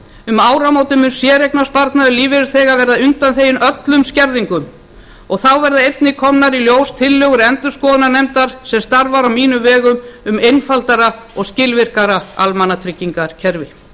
um áramótin mun séreignasparnaður lífeyrisþega verða undanþeginn öllum skerðingum og þá verða einnig komnar í ljós tillögur endurskoðunarnefndar sem starfar á mínum vegum um einfaldara og skilvirkara almannatryggingakerfi